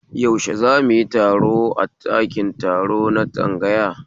Yaushe zamuyi taro a ɗakin taro na tsangaya